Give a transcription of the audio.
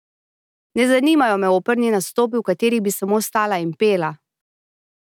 Ne zanimajo me operni nastopi, v katerih bi samo stala in pela.